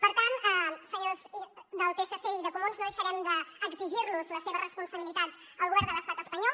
per tant senyors del psc i de comuns no deixarem d’exigirlos les seves responsabilitats al govern de l’estat espanyol